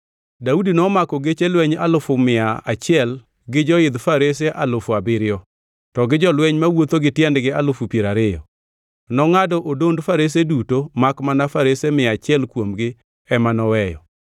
Daudi nomako geche lweny alufu achiel gi joidh farese alufu abiriyo, to gi jolweny mawuotho gi tiendgi alufu piero ariyo. Nongʼado odond farese duto makmana farese mia achiel kuomgi ema noweyo.